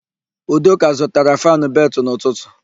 Udoka zụtara fannụ beltụ n'ụtụtụ.